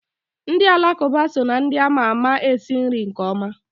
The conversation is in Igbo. Ndị Kalaba so na ndị ama ma esi nri nke ọma.